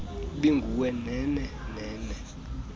ibinguwe nhenhe nhenhe